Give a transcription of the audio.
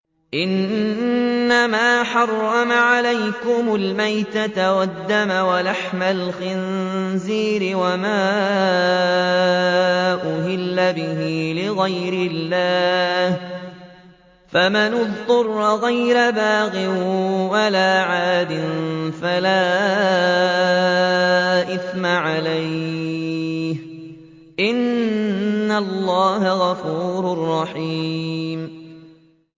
إِنَّمَا حَرَّمَ عَلَيْكُمُ الْمَيْتَةَ وَالدَّمَ وَلَحْمَ الْخِنزِيرِ وَمَا أُهِلَّ بِهِ لِغَيْرِ اللَّهِ ۖ فَمَنِ اضْطُرَّ غَيْرَ بَاغٍ وَلَا عَادٍ فَلَا إِثْمَ عَلَيْهِ ۚ إِنَّ اللَّهَ غَفُورٌ رَّحِيمٌ